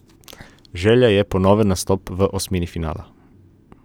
Želja je ponoven nastop v osmini finala.